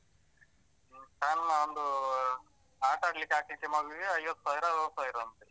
ಹ್ಮ ಸಣ್ಣ ಒಂದು ಆಟಾಡ್ಲಿಕ್ಕೆ ಹಾಕ್ಲಿಕ್ಕೆ ಮಗುವಿಗೆ ಐವತ್ತು ಸಾವಿರ ಅರ್ವತ್‌ ಸಾವಿರ ಅಂತೆ.